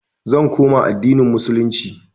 i will revert to islam